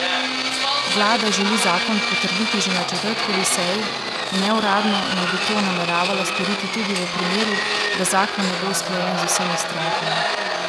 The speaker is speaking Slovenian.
Vlada želi zakon potrditi že na četrtkovi seji, neuradno naj bi to nameravala storiti tudi v primeru, da zakon ne bo usklajen z vsemi strankami.